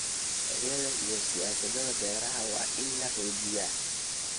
Sharciyada iyo siyaasadaha beeraha waa in la xoojiyaa.